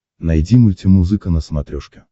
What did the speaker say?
найди мультимузыка на смотрешке